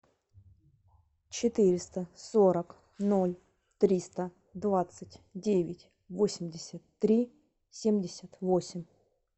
четыреста сорок ноль триста двадцать девять восемьдесят три семьдесят восемь